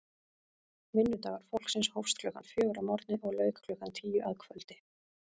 Vinnudagur fólksins hófst klukkan fjögur að morgni og lauk klukkan tíu að kvöldi.